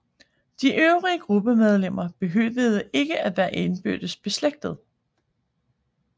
De øvrige gruppemedlemmer behøvede ikke at være indbyrdes beslægtede